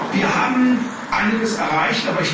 Wir haben einiges erreicht.